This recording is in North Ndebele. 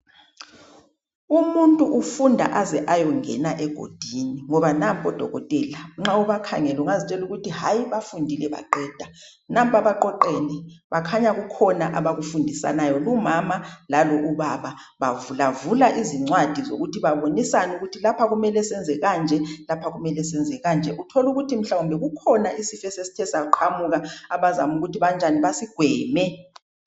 Umuntu ufunda aze ayongena egodini ngoba nampa odokotela. Nxa ubakhangele ungazitshela ukuthi hayi, bafundile baqeda. Nampa baqoqene, bakhanya kukhona abakufundisanayo. Umama lalo ubaba bavulavula izincwadi zokuthi babonisane ukuthi lapha kumele senze kanje, lapha kumele senze kanje. Utholukuthi mhlawumbe kukhona isifo esesithe saqhamuka, abazama ukuthi banjani basigweme.